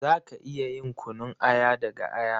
Za ka iya yin kunun aya daga aya.